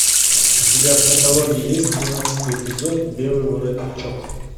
у тебя в каталоге есть тринадцатый эпизод белый воротничок